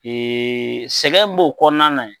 sɛgɛn b'o kɔnɔna na ye.